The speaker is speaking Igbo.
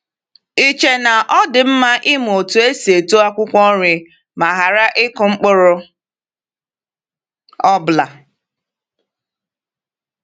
Ì chee na ọ dị mma ịmụ otú esi eto akwụkwọ nri ma ghara ịkụ mkpụrụ ọbụla?